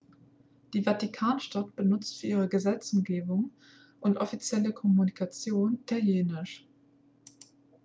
die vatikanstadt benutzt für ihre gesetzgebung und offizielle kommunikation italienisch